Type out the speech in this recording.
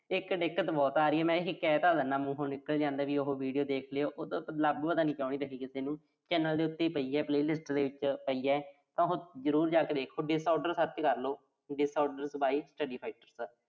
ਇੱਕ ਦਿੱਕਤ ਬਹੁਤ ਆ ਰਹੀ ਆ। ਮੈਂ ਇਹੇ ਕਹਿ ਤਾਂ ਦਿਨਾਂ ਮੂੰਹੋਂ ਨਿਕਲ ਜਾਂਦਾ ਵੀ ਉਹੋ video ਦੇਖ ਲਿਓ। ਉਹ ਲੱਭ ਪਤਾ ਨੀਂ ਕਿਉਂ ਨੀਂ ਰਹੀ ਕਿਸੇ ਨੂੰ। channel ਦੇ ਉੱਤੇ ਹੀ ਪਈ ਆ। playlist ਦੇ ਵਿੱਚ ਪਈ ਆ। ਤਾਂ ਉਹੋ ਜ਼ਰੂਰ ਜਾ ਕੇ ਦੇਖੋ disorder search ਕਰਲੋ disorders ਬਾਰੇ study factors